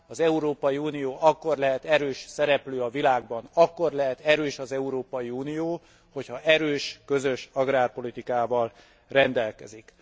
Az Európai Unió akkor lehet erős szereplő a világban, akkor lehet erős az Európai Unió, hogy ha erős, közös agrárpolitikával rendelkezik.